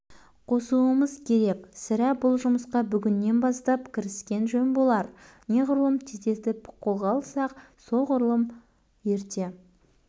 қосуымыз керек сірә бұл жұмысқа бүгіннен бастап кіріскен жөн болар неғұрлым тездетіп қолға алсақ солғұрлым ерте